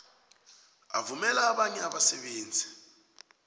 avumela abanye abasebenzi